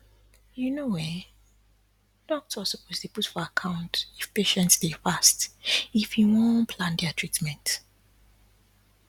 you know[um]goctors suppose dy put for account if patients dey fast if he wan wan plan their treatment